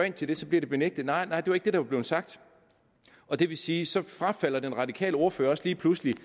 ind til det blev det benægtet nej nej det var ikke det der blev sagt og det vil sige at så frafalder den radikale ordfører også lige pludselig